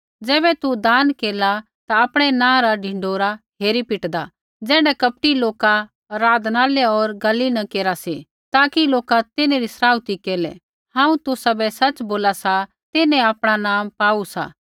ज़ैबै तू दान केरला ता आपणै नाँ रा ढिंढोरा हेरी पिटदा ज़ैण्ढा कपटी लोका आराधनालय होर गली न केरा सी ताकि लोका तिन्हरी सराउथी केरलै हांऊँ तुसाबै सच़ बोला सा तिन्हैं आपणा ईनाम पाऊ सा